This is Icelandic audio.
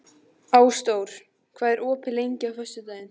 Ásdór, hvað er opið lengi á föstudaginn?